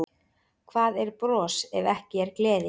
Hvað er bros ef ekki er gleði?